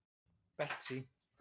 Betsý